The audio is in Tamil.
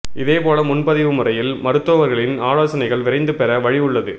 இதே போல முன்பதிவு முறையில் மருத்துவா்களின் ஆலோசனைகள் விரைந்து பெற வழி உள்ளது